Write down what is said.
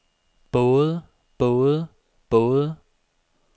både både både